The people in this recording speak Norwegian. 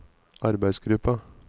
arbeidsgruppa